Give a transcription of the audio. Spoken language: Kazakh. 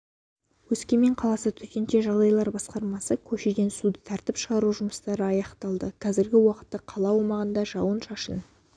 өскемен қаласы төтенше жағдайлар басқармасы көшеден суды тартып шығару жұмыстары аяқталды қазіргі уақытта қала аумағында жауын-шашын